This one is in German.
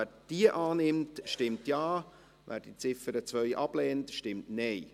Wer diese annimmt, stimmt Ja, wer diese ablehnt, stimmt Nein.